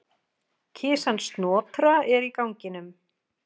Kisan Snotra er í ganginum.